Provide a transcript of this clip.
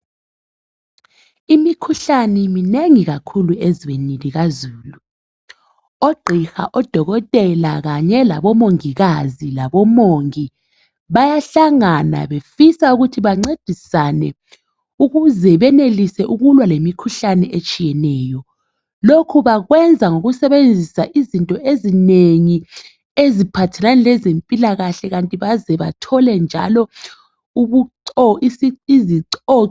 Imikhuhlane minengi kakhulu ezweni likazulu oqhiha odokotela kanye labo mongikazi labomongi. Bayahlangana befisa ukuthi bancedisane ukuze benelise ukulwa lemikhuhlane etshiyeneyo. Lokhu bakwenza ngokusebenzisa izinto ezinengi eziphathelane lezempilakahle kanti baze bathole njalo isico.